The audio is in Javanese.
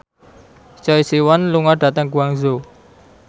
Choi Siwon lunga dhateng Guangzhou